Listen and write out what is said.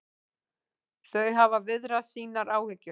Þau hafa viðrað sínar áhyggjur